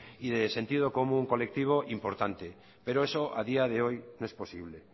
y de sentido común colectivo importante pero eso a día de hoy no es posible